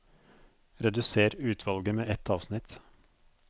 Redusér utvalget med ett avsnitt